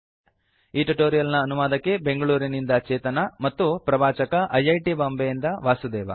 ಈ ಟ್ಯುಟೋರಿಯಲ್ ನ ಅನುವಾದಕಿ ಬೆಂಗಳೂರಿನಿಂದ ಚೇತನಾ ಮತ್ತು ಪ್ರವಾಚಕ ಐ ಐ ಟಿ ಬಾಂಬೆಯಿಂದ ವಾಸುದೇವ